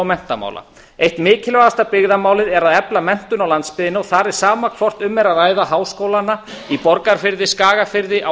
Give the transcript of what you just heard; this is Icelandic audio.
menntamála eitt mikilvægasta byggðamálið er að efla menntun á landsbyggðinni þar er sama hvort um er að ræða háskólana í borgarfirði skagafirði á